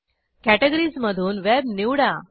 categories मधून web निवडा